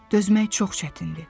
Dözmək çox çətindir.